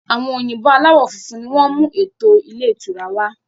Àwọn òyìnbó aláwọ funfun ni wọn mú eto ilé ìtura wá.